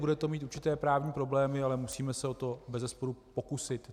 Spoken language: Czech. Bude to mít určité právní problémy, ale musíme se o to bezesporu pokusit.